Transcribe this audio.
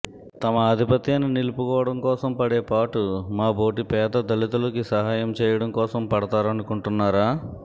తమ ఆధిపత్యాన్ని నిలుపుకోవడం కోసం పడే పాటు మాబోటి పేద దళితులకి సహాయం చేయడం కోసం పడతారనుకుంటున్నారా